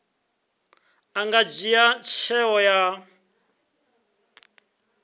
a nga dzhia tsheo ya